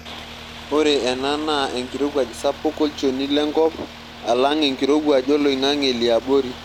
Ore ena naa enkirowuaj sapuk olchoni lenkop alang' enkirowuaj oloing'ang'e liabori.